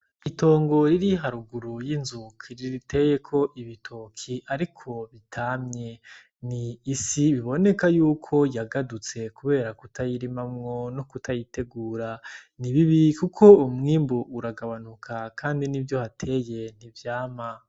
Itongo riri haruguru y'inzu riteyeko ibitoki ariko bitamye n'isi iboneka yuko yagadutse kubera kutayirimamwo nokutayitegura ni bibi kuko umwimbu uragabanuka kandi nivyo uhateye ntivyama.